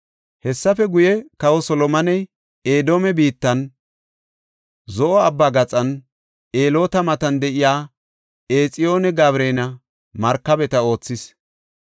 Hessafe guye, kawoy Solomoney Edoome biittan Zo7o Abbaa gaxan, Eloota matan de7iya Exiyoon-Gabiran markabeta oothis.